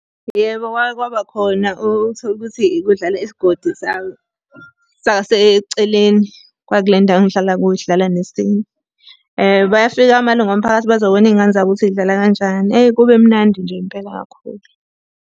Yebo, kwake kwaba khona uthole ukuthi kudlala isigodi saseceleni kwakule ndawo engihlala kuyo, sidlala nesinye. Bayafika amalungu omphakathi bazobona iy'ngane zabo ukuthi zidlala kanjani. Eyi kube mnandi nje impela kakhulu.